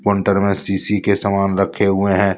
अंदर मे सीसी के सामान रखे हुए हैं।